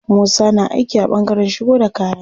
Musa na aiki a ɓangaren shigo da kaya.